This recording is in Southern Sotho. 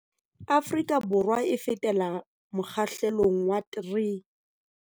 Afrika Borwa e fetela mokgahlelong wa 3.